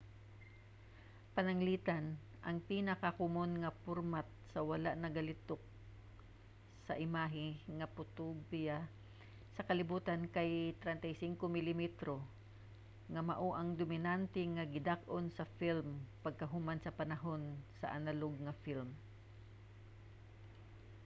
pananglitan ang pinakakomon nga format sa wala nagalihok nga imahe nga potograpiya sa kalibutan kay 35 milimetro nga mao ang dominante nga gidak-on sa film pagkahuman sa panahon sa analog nga film